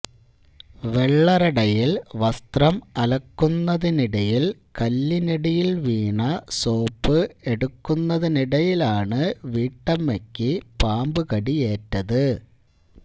വെള്ളറടയിൽ വസ്ത്രം അലക്കുന്നതിനിടിയിൽ കല്ലിനടിയിൽ വീണ സോപ്പ് എടുക്കുന്നതിടയിലാണ് വീട്ടമ്മയ്ക്ക് പാമ്പ് കടിയേറ്റത്